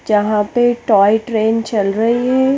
जहा पे toy train चल रई है।